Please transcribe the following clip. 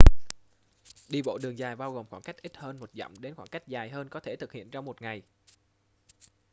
đi bộ đường dài bao gồm khoảng cách ít hơn một dặm đến khoảng cách dài hơn có thể thực hiện trong một ngày